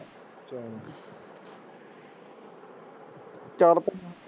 ਚਲ ਭਾਈ